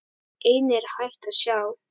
Einnig er hægt að sjá.